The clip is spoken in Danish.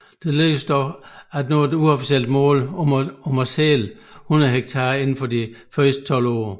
Det lykkedes dog at nå et uofficielt mål om at sælge 100 hektar inden for de første 12 år